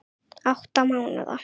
Átta mánaða